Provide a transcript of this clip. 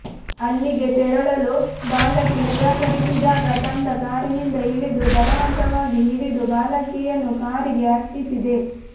ಅಲ್ಲಿಗೆ ತೆರಳಲು ಬಾಲಕಿ ನಿರಾಕರಿಸಿದಾಗ ತಂಡ ಕಾರಿನಿಂದ ಇಳಿದು ಬಲವಂತವಾಗಿ ಹಿಡಿದು ಬಾಲಕಿಯನ್ನು ಕಾರಿಗೆ ಹತ್ತಿಸಿದೆ